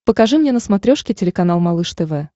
покажи мне на смотрешке телеканал малыш тв